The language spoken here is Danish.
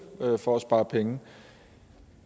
for at spare penge